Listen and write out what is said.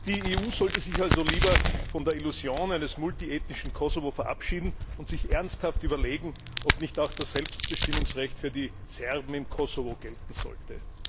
Die EU sollte sich also lieber von der Illusion eines multiethnischen Kosovo verabschieden und sich ernsthaft überlegen, ob nicht auch das Selbstbestimmungsrecht für die Serben im Kosovo gelten sollte.